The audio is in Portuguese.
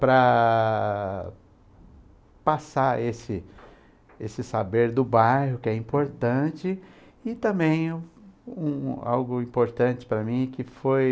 para passar esse esse saber do bairro, que é importante, e também um algo importante para mim que foi...